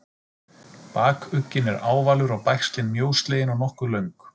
Bakugginn er ávalur og bægslin mjóslegin og nokkuð löng.